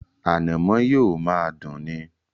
Ànàmọ́ yóò máa dùn ni.